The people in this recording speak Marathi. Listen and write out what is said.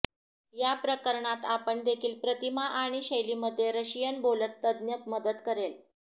या प्रकरणात आपण देखील प्रतिमा आणि शैली मध्ये रशियन बोलत तज्ञ मदत करेल